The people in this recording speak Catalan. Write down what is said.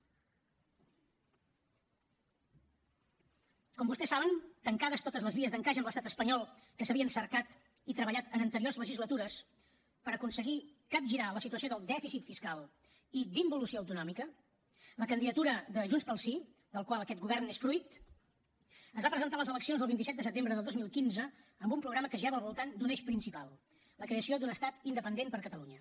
com vostès saben tancades totes les vies d’encaix amb l’estat espanyol que s’havien cercat i treballat en anteriors legislatures per aconseguir capgirar la situació del dèficit fiscal i d’involució autonòmica la candidatura de junts pel sí del qual aquest govern n’és fruit es va presentar a les eleccions del vint set de setembre del dos mil quinze amb un programa que girava al voltant d’un eix principal la creació d’un estat independent per a catalunya